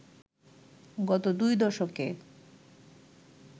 গত দুই দশকে